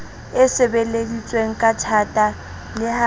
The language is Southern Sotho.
e sebeleditsweng kathata le ha